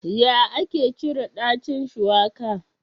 Ya ake cire ɗacin shuwaka?